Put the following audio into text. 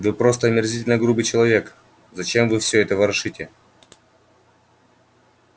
вы просто омерзительно грубый человек зачем вы всё это ворошите